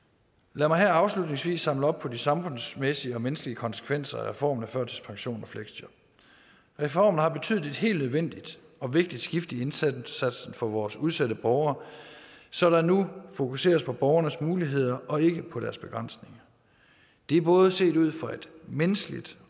lad mig her afslutningsvis samle op på de samfundsmæssige og menneskelige konsekvenser af reformen af førtidspension og fleksjob reformen har betydet et helt nødvendigt og vigtigt skift i indsatsen for vores udsatte borgere så der nu fokuseres på borgernes muligheder og ikke på deres begrænsninger det er både set ud fra et menneskeligt